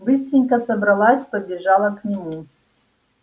быстренько собралась побежала к нему